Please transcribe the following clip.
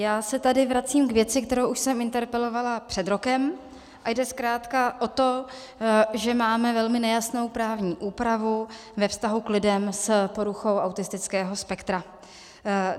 Já se tady vracím k věci, kterou už jsem interpelovala před rokem, a jde zkrátka o to, že máme velmi nejasnou právní úpravu ve vztahu k lidem s poruchou autistického spektra.